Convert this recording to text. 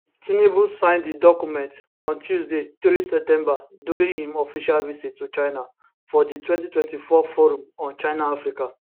tinubu sign di documents on tuesday 3 september during im official visit to china for di 2024 forum forum on chinaafrica